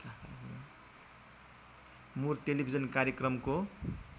मुर टेलिभिजन कार्यक्रमको